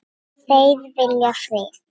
Þeir vilja frið.